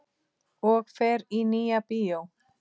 Og fer í Nýja bíó!